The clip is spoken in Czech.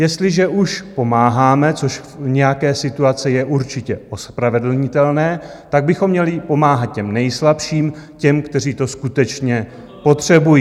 Jestliže už pomáháme, což v nějaké situaci je určitě ospravedlnitelné, tak bychom měli pomáhat těm nejslabším, těm, kteří to skutečně potřebují.